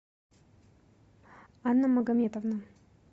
анна магометовна